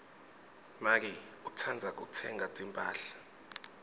make utsandza kutsenga timphahla